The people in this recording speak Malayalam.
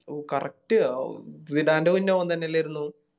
ഓ Correct ഓൻ തന്നെയല്ലാരുന്നു